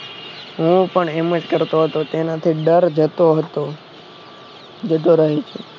હું પણ એમજ કરતો હતો તેનાથી ડર જતો હતો જતો રહે છે